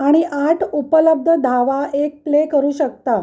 आणि आठ उपलब्ध धावा एक प्ले करू शकता